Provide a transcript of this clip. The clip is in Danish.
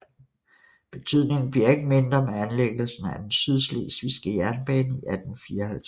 Betydningen bliver ikke mindre med anlægelsen af den Sydslesvigske Jernbane i 1854